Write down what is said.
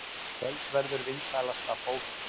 Kvöldverður vinsælasta bókin